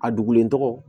A dogolen tɔgɔ